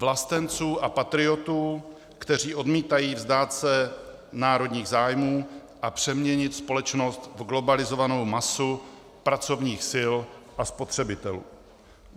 Vlastenců a patriotů, kteří odmítají vzdát se národních zájmů a přeměnit společnost v globalizovanou masu pracovních sil a spotřebitelů.